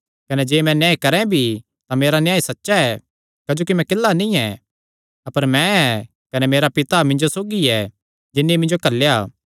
कने जे मैं न्याय करैं भी तां मेरा न्याय सच्चा ऐ क्जोकि मैं किल्ला नीं ऐ अपर मैं ऐ कने मेरा पिता मिन्जो सौगी ऐ जिन्नी मिन्जो घल्लेया